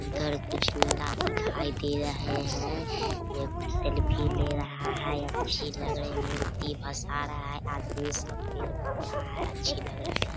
इधर कुछ नीला दिखाई दे रहे हैं एक सेल्फी ले रहा हैअच्छी लग रही है मूर्ती बस आ रहा है आदमी सब पेड़-पौधा है अच्छी लग रहे हैं ।